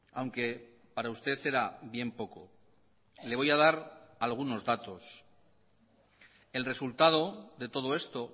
aunque para usted era bien poco le voy a dar algunos datos el resultado de todo esto